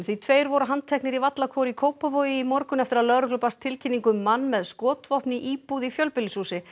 tveir voru handteknir í Vallakór í Kópavogi í morgun eftir að lögreglu barst tilkynning um mann með skotvopn í íbúð í fjölbýlishúsi